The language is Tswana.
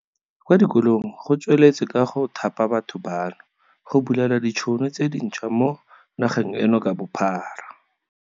Kwa dikolong go tsweletswe ka go thapa batho bano, go bulela ditšhono tse dinšhwa mo nageng eno ka bophara.